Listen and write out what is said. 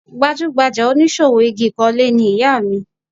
Gbajúgbajà oníṣòwò igi ìkọ́lé ni ìyá mi